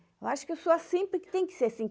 Eu acho que eu sou assim porque tem que ser assim.